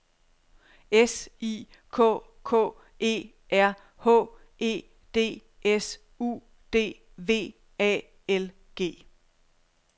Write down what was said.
S I K K E R H E D S U D V A L G